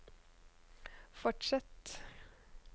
fortsett